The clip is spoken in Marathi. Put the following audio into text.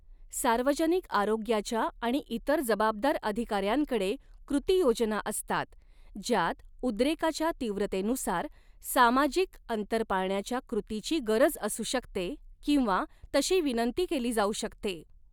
सार्वजनिक आरोग्याच्या आणि इतर जबाबदार अधिकाऱ्यांकडे कृतियोजना असतात, ज्यात उद्रेकाच्या तीव्रतेनुसार, सामाजिक अंतर पाळण्याच्या कृतीची गरज असू शकते किंवा तशी विनंती केली जाऊ शकते.